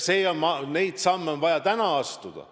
Neid samme on vaja täna astuda.